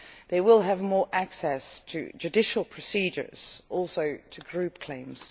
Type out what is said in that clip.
They will have more access to judicial procedures and also to group claims.